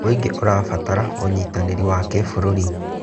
Mũingĩ ũrabatara ũnyitanĩri wa kĩbũrũri.